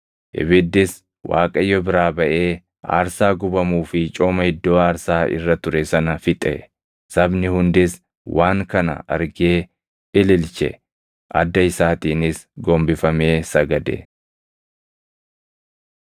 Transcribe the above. Ibiddis Waaqayyo biraa baʼee aarsaa gubamuu fi cooma iddoo aarsaa irra ture sana fixe; sabni hundis waan kana argee ililche; adda isaatiinis gombifamee sagade.